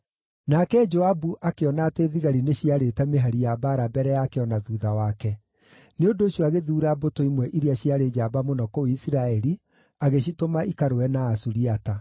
Nake Joabu akĩona atĩ thigari nĩciarĩte mĩhari ya mbaara mbere yake o na thuutha wake; nĩ ũndũ ũcio agĩthuura mbũtũ imwe iria ciarĩ njamba mũno kũu Isiraeli, agĩcitũma ikarũe na Asuriata.